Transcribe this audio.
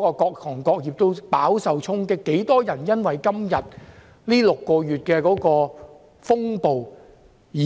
各行各業都飽受衝擊，多少人因為這6個月的風暴而